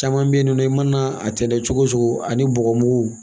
Caman bɛ yen nɔ i mana a tɛntɛn cogo cogo ani bɔgɔmugu